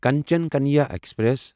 Kanchan Kanya express